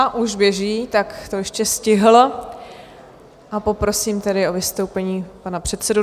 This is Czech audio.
A už běží, tak to ještě stihl, a poprosím tedy o vystoupení pana předsedu.